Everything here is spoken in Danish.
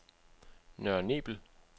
Nørre Nebel